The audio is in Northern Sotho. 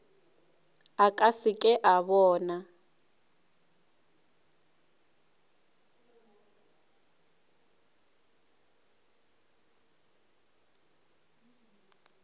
a se ke a bona